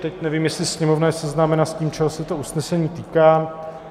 Teď nevím, jestli Sněmovna je seznámena s tím, čeho se to usnesení týká.